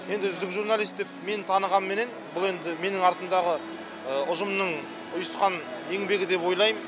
енді үздік журналист деп мені танығаныменен бұл енді артымдағы ұжымның ұйысқан еңбегі деп ойлайм